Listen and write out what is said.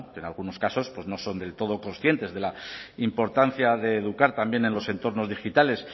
que en algunos casos pues no son del todo conscientes de la importancia de educar también en los entornos digitales